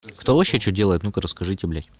кто вообще что делает ну-ка расскажите блять